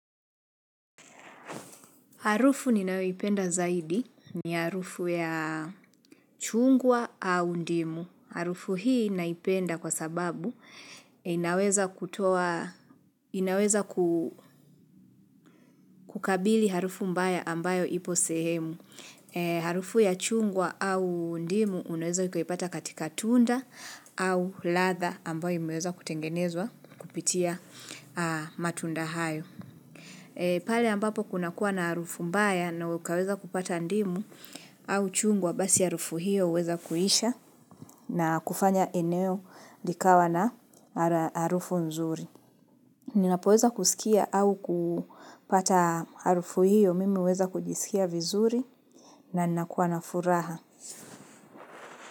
Harufu ninayoipenda zaidi ni harufu ya chungwa au ndimu. Harufu hii naipenda kwa sababu inaweza inaweza kukabili harufu mbaya ambayo ipo sehemu. Harufu ya chungwa au ndimu unaweza ukaipata katika tunda au ladha ambayo imeweza kutengenezwa kupitia matunda hayo. Pale ambapo kuna kuwa na harufu mbaya na ukaweza kupata ndimu au chungwa basi harufu hiyo uweza kuisha na kufanya eneo likawa na harufu nzuri. Ninapoweza kusikia au kupata harufu hiyo mimi ninaweza kujisikia vizuri na nakuwa na furaha.